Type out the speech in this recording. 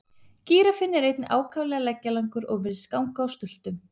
Gíraffinn er einnig ákaflega leggjalangur og virðist ganga á stultum.